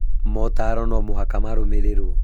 Mootaro no mũhaka marũmĩrĩrũo